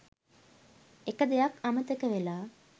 එක දෙයක් අමතක වෙලා